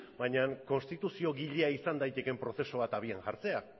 baina konstituziogilea izan daitekeen prozesu bat abian jartzea